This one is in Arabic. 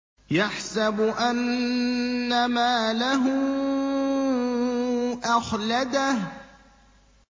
يَحْسَبُ أَنَّ مَالَهُ أَخْلَدَهُ